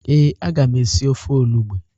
Ee, aga m esi ofe olugbo.